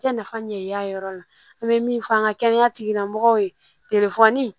I tɛ nafa ɲɛ yir'a yɔrɔ la an bɛ min fɔ an ka kɛnɛya tigilamɔgɔw ye telefɔni